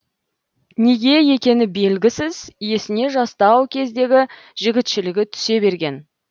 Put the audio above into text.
неге екені белгісіз есіне жастау кездегі жігітшілігі түсе берген